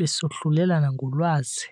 besohlulelana ngolwazi.